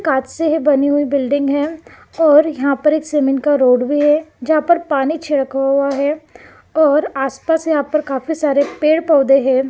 कांच से है बनी हुई बिल्डिंग है और यहां पे एक सीमेंट का रोड भी है यहां पर पानी छिड़का हुआ है और आस पास यहां पर काफी सारे पेड़ पोधै हैं।